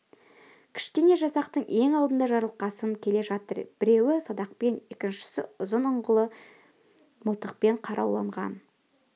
кішкене жасақтың ең алдында жарылқасын келе жатыр біреуі садақпен екіншісі ұзын ұңғылы мылтықпен қаруланған